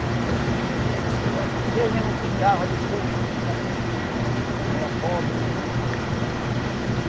E eu acho que Deus mesmo cuidava do povo porque sabia que né que era pobre.